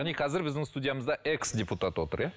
яғни қазір біздің студиямызда экс депутат отыр иә